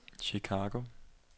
Chicago